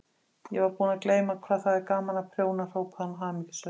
Ég var búin að gleyma hvað það er gaman að prjóna hrópaði hún hamingjusöm.